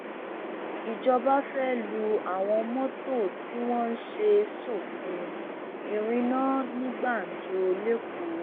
ìjọba fẹẹ lu àwọn mọtò tí wọn ṣe sófin ìrìnnà ní gbàǹjo lẹkọọ